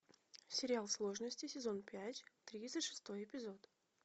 сериал сложности сезон пять тридцать шестой эпизод